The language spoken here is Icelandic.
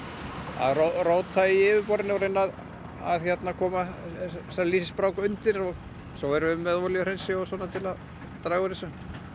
að róta í yfirborðinu og reyna að koma þessari undir og svo erum við með olíuhreinsi til að draga úr þessu